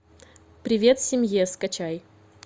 привет семье скачай